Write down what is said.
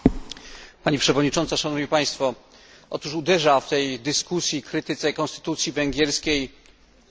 Uderza w tej dyskusji i krytyce konstytucji węgierskiej, trzeba tu powiedzieć, hipokryzja i podwójne standardy.